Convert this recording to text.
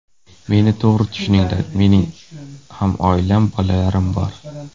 Meni to‘g‘ri tushuninglar, mening ham oilam, bolalarim bor.